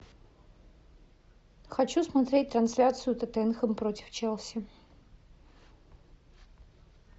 хочу смотреть трансляцию тоттенхэм против челси